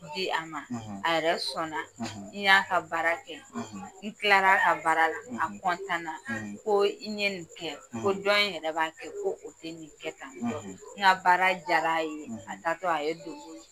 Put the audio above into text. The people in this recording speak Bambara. a ma a yɛrɛ sɔnna n y'a ka baara kɛ n kila ka baara la a na ko n ɲe nin kɛ ko jɔn in yɛrɛ b'a kɛ, ko o tɛ nin kɛ kan n ka baara jara a ye a taa tɔ a ye don bolo